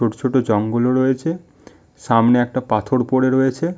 ছোট ছোট জঙ্গল ও রয়েছে সামনে একটা পাথর পরে রয়েছে--